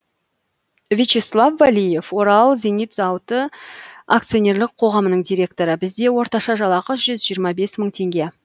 вячеслав валиев орал зенит зауыты акционерлік қоғамының директоры бізде орташа жалақы жүз жиырма бес мың теңге